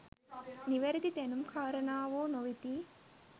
නිවැරදි දැනුම් කාරණාවෝ නොවෙති.